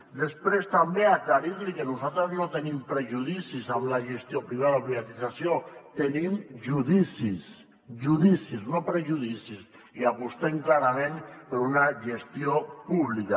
i després també aclarir li que nosaltres no tenim prejudicis amb la gestió privada o privatització tenim judicis judicis no prejudicis i apostem clarament per una gestió pública